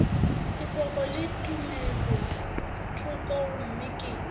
dipoko le tumelothoko gomme ke